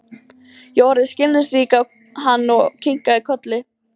Ég horfði skilningsrík á hann og kinkaði kolli.